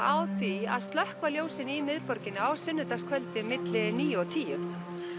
á því að slökkva ljósin í miðborginni á sunnudagskvöldið milli níu og tíunda